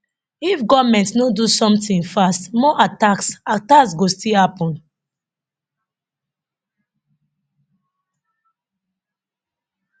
if goment no do somtin fast more attacks attacks go still happun